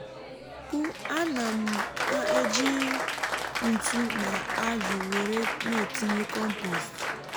á nà m m um ejì ntụ na ájù wèré n'ètínyé kọ́mpost